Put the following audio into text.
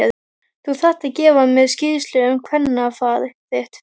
Þú þarft að gefa mér skýrslu um kvennafar þitt!